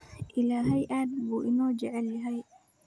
Ilaahay aad buu inoo jecel yahay.